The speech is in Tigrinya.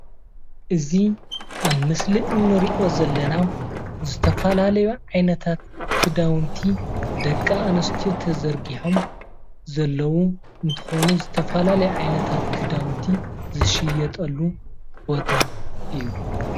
እዚ ኣብ ምስሊ እንሪኦ ዘለና ዝተፈላለዩ ዓይነታት ክዳውንቲ ደቂ ኣንስትዮ ተዘርጊሖም ዘለው እንትኮኑ ዝተፈላለዩ ዓይነታት ክዳውንቲ ዝሽየጠሉ ቦታ እዩ፡፡